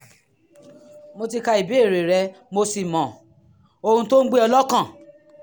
mo ti ka ìbéèrè rẹ mo sì mọ ohun tó ń gbé ọ lọ́kàn